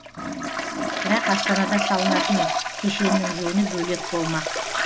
бірақ астанада салынатын кешеннің жөні бөлек болмақ